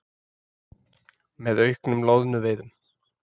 með auknum loðnuveiðum.